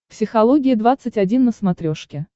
психология двадцать один на смотрешке